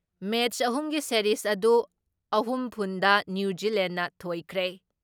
ꯃꯦꯠꯁ ꯑꯍꯨꯝꯒꯤ ꯁꯦꯔꯤꯖ ꯑꯗꯨ ꯑꯍꯨꯝ ꯐꯨꯟ ꯗ ꯅ꯭ꯌꯨ ꯖꯤꯂꯦꯟꯅ ꯊꯣꯏꯈ꯭ꯔꯦ ꯫